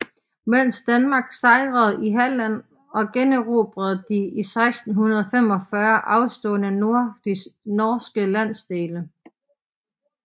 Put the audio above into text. Mens Danmark sejrede i Halland og generobrede de i 1645 afståede norske landsdele